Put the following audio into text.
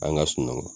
An ka sunɔgɔ